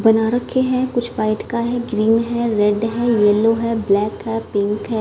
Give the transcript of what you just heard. बना रखे हैं कुछ व्हाइट का है ग्रीन है रेड है येलो है ब्लैक है पिंक है।